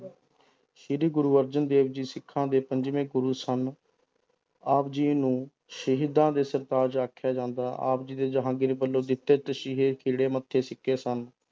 ਸ੍ਰੀ ਗੁਰੂ ਅਰਜਨ ਦੇਵ ਜੀ ਸਿੱਖਾਂ ਦੇ ਪੰਜਵੇਂ ਗੁਰੂ ਸਨ ਆਪ ਜੀ ਨੂੰ ਸ਼ਹੀਦਾਂ ਦੇ ਸਰਤਾਜ ਆਖਿਆ ਜਾਂਦਾ, ਆਪ ਜੀ ਦੇ ਜਹਾਂਗੀਰ ਵੱਲੋਂ ਦਿੱਤੇ ਤਸੀਹੇ ਖਿੱੜੇ ਮੱਥੇ ਸਨ